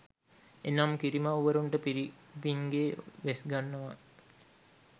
එනම් කිරිමව්වරුන්ට පිරිමින්ගේ වෙස්ගන්වා